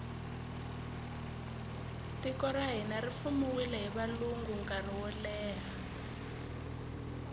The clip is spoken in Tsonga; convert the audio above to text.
tiko ra hina ri fumiwile hi valungu nkarhi woleha